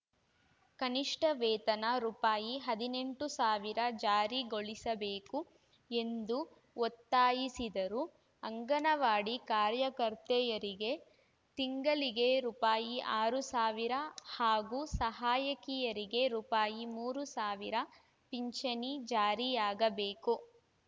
ಕನಿಷ್ಠ ವೇತನ ರೂಪಾಯಿ ಹದಿನೆಂಟು ಸಾವಿರ ಜಾರಿಗೊಳಿಸಬೇಕು ಎಂದು ಒತ್ತಾಯಿಸಿದರು ಅಂಗನವಾಡಿ ಕಾರ್ಯಕರ್ತೆಯರಿಗೆ ತಿಂಗಳಿಗೆ ರೂಪಾಯಿ ಆರು ಸಾವಿರ ಹಾಗೂ ಸಹಾಯಕಿಯರಿಗೆ ರೂಪಾಯಿ ಮೂರು ಸಾವಿರ ಪಿಂಚಣಿ ಜಾರಿಯಾಗಬೇಕು